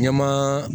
Ɲɛmaa